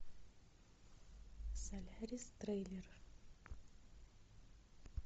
солярис трейлер